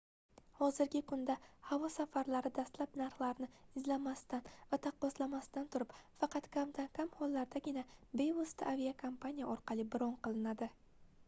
hozirgi kunda havo safarlari dastlab narxlarni izlamasdan va taqqoslamasdan turib faqat kamdan-kam hollardagina bevosita aviakompaniya orqali bron qilinadi